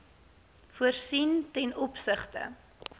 voorsien ten opsigte